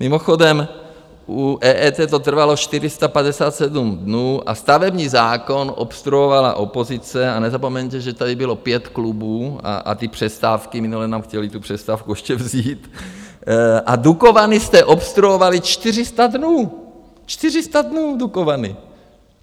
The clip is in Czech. Mimochodem, u EET to trvalo 457 dnů, a stavební zákon obstruovala opozice, a nezapomeňte, že tady bylo pět klubů, a ty přestávky, minule nám chtěli tu přestávku ještě vzít, a Dukovany jste obstruovali 400 dnů, 400 dnů Dukovany!